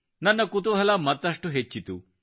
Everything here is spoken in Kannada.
ನನ್ನ ಕುತೂಹಲ ಮತ್ತಷ್ಟು ಹೆಚ್ಚಿತು